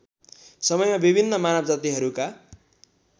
समयमा विभिन्न मानवजातिहरूका